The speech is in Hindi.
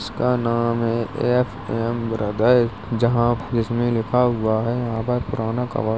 उसका नाम है एफएम ब्रदर जहां जिसमें लिखा हुआ है यहाँ पर पुराना कवा --